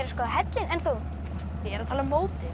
skoða hellinn en þú ég er að tala um mótið